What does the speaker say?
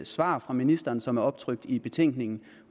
svar fra ministeren som er optrykt i betænkningen